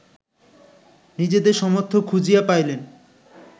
নিজেদের সমর্থক খুঁজিয়া পাইলেন